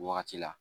Wagati la